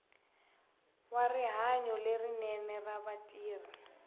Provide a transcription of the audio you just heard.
wa rihanyo lerinene ra vatirhi